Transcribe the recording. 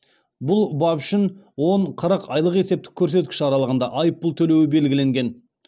бұл бап үшін он қырық айлық есептік көрсеткіш аралығында айыппұл төлеуі белгіленген